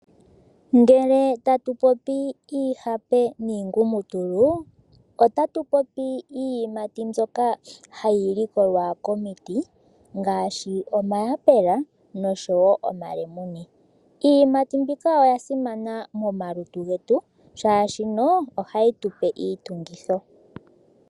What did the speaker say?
Iihape niingumutulu oyo iiyimati mbyoka hayi likolwa komiti ngaashi omayapela nosho wo omalemune. Iiyimati oyasimana momalutu oshoka ohayi gandja iitungithi.